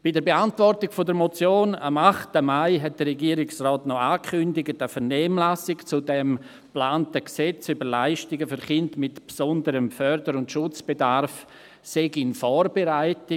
Bei der Beantwortung der Motion am 8. Mai hat der Regierungsrat noch angekündigt, eine Vernehmlassung zum geplanten FSG sei in Vorbereitung.